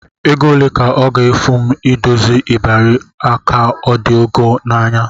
Ego ole ka ọ ga-efu m idozi ịbarị a ka ọ dị ọgọ n'anya?